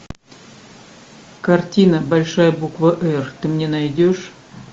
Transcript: картина большая буква р ты мне найдешь